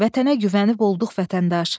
Vətənə güvənib olduq vətəndaş.